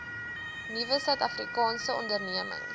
nuwe suidafrikaanse ondernemings